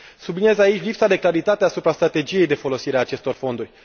Subliniez aici lipsa de claritate asupra strategiei de folosire a acestor fonduri.